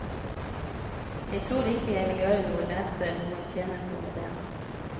Jeg tror ikke jeg vil gjøre noen leser noen tjeneste ved det.